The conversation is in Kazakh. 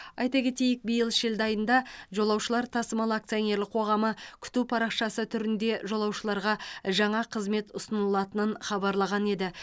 айта кетейік биыл шілде айында жолаушылар тасымалы акционерлік қоғамы күту парақшасы түрінде жолаушыларға жаңа қызмет ұсынылатынын хабарлаған еді